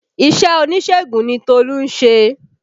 Iṣẹ́ oníṣègùn ni Tolu ń ṣe